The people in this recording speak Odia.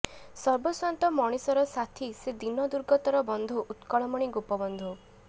ସର୍ବସ୍ୱାନ୍ତ ମଣିଷରସାଥୀ ସେ ଦୀନ ଦୁର୍ଗତର ବନ୍ଧୁ ଉତ୍କଳମଣି ଗୋପବନ୍ଧୁ